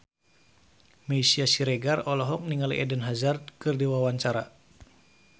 Meisya Siregar olohok ningali Eden Hazard keur diwawancara